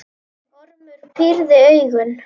Ormur pírði augun.